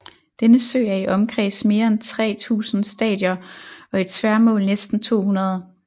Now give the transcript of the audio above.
Denne sø er i omkreds mere end tre tusinde stadier og i tværmål næsten to hundrede